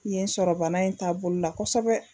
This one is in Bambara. Kun ye n sɔrɔ bana in taa bolo la kosɛbɛ